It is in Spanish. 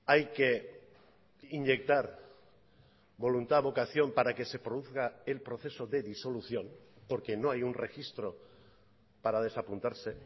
hay que inyectar voluntad vocación para que se produzca el proceso de disolución porque no hay un registro para desapuntarse